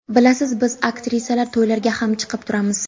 Bilasiz, biz aktrisalar to‘ylarga ham chiqib turamiz.